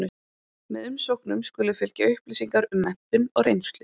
Með umsóknum skulu fylgja upplýsingar um menntun og reynslu.